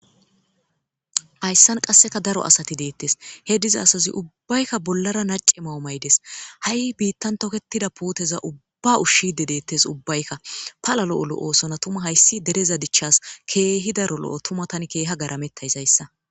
hayssan qasseka daro asati deettes he diza asazi ubbaykka bollara nace mawu maydes ha7i biittan toketida puuteza ubba ushshide deettes ubbaykka palalo7olo oosona tuma hayssi dereza dichchas keehi daro lo7o tumatan keeha garametta isayssa